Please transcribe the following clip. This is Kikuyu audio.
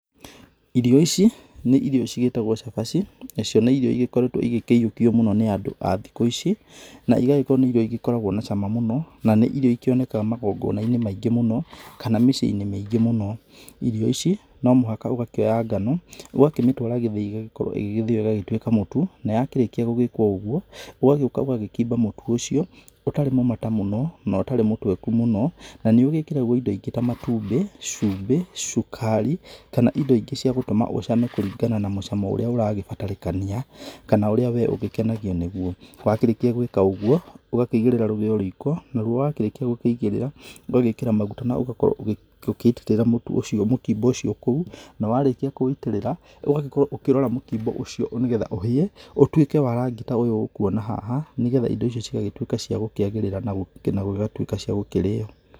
Irio ici, nĩ irio cigĩtagwo cabaci, nacio nĩ irio ĩgĩkoretwo igĩkĩyũkio mũno nĩ andũ a thikũ ici, na igagĩkorwo nĩ irio igĩkoragwo na cama mũno, na nĩ irio ikĩonekaga magongona-inĩ mũno, kana mĩciĩ-inĩ mĩingĩ mũno. Irio ici, no mũhaka ũgakĩoya ngano, ũgakĩmĩtũara gĩthĩi ĩgagĩkorwo ĩgĩthĩo ĩgatuĩka mũtu, na yakĩrĩkia gũgĩkwo ũguo, ũgagĩũka ũgagĩkimba mũtu ũcio, ũtarĩ mũmata mũno na ũtarĩ mũtweku mũno. Na nĩ ũgĩkĩragwo indo ingĩ ta matumbĩ, cumbĩ, cukari kana indo ingĩ cia gũtũma ũcame kũringana na mũcamo ũrĩa ũragĩbatarakania kana ũrĩa wee ũgĩkenagio nĩguo. Wakĩrĩkia gwĩka ũguo, ũgakĩigĩrĩra rũgĩo riiko, naruo wakĩrĩkia gũkĩigĩrĩra, ũgagĩkĩra maguta na ũgakorwo ũgĩitĩrĩra mũtu ũcio mũkimbo ũcio kũu, na warĩkia kũwũitĩrĩra ũgagĩkorwo ũkĩrora mũkimbo ũcio nĩ getha ũhĩe ũtuĩke wa rangi ta ũyũ ũkuona haha, nĩ getha indo icio cigagĩtuĩka cia gũkĩagĩrĩra na gũgatuĩka cia gũkĩrĩo.